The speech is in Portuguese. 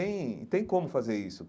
E tem e tem como fazer isso.